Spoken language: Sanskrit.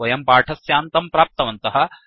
वयं पाठस्यान्तं प्राप्तवन्तः